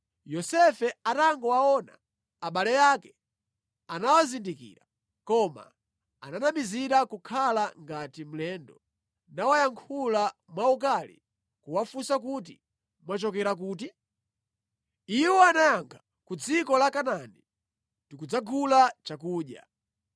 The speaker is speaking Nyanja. Yosefe atangowaona abale ake anawazindikira, koma ananamizira kukhala ngati mlendo nawayankhula mwaukali kuwafunsa kuti, “Mwachokera kuti?” Iwo anayankha, “Ku dziko la Kanaani, tikudzagula chakudya.”